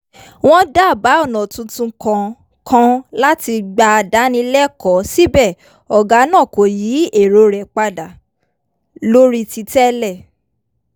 wọ́n dábàá ọ̀nà tuntun kan kan láti gbà dáni lẹ́kọ̀ọ́ síbẹ̀ ọ̀gá náà kò yí èrò rẹ̀ padà lórí ti tẹ́lẹ̀